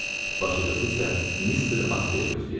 Başlıcası isə Mister Astleyi gözləyirəm.